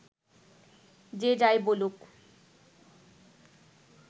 যে যাই বলুক